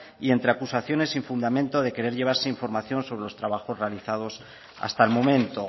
y entre acusaciones sin fundamento de querer llevarse información sobre los trabajos realizados hasta el momento